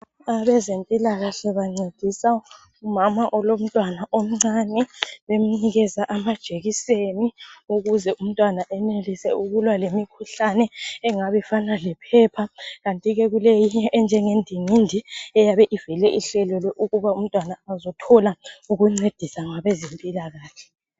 Abezempilakahle bancedisa umama olomntwana omncane bemnikeza amajekiseni ukuze umntwana enelise ukulwa lemikhuhlane engabifana lephepha kanti ke kuleyinye enjengendingindi eyabe ivele ihlelelwe ukuba umntwana azothola ukuncediswa ngabezempilakahle .